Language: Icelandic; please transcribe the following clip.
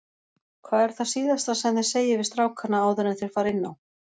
Hvað er það síðasta sem þið segið við strákana áður enn þeir fara inn á?